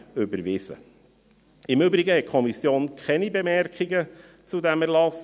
Im Übrigen hat die Kommission keine Bemerkungen zu diesem Erlass.